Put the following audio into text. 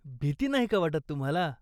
भीती नाही का वाटत तुम्हाला?